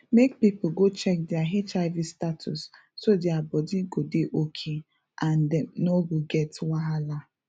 make people go check their hiv status so their body go dey okay and dem no go get wahala